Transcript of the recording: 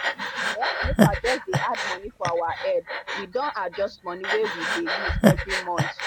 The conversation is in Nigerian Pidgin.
um nepa just dey add money for our head we don adjust money wey we dey use every month